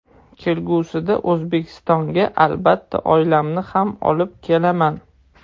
Kelgusida O‘zbekistonga, albatta, oilamni ham olib kelaman.